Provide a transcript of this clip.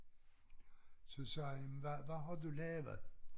Så sagde jamen hvad hvad har du lavet?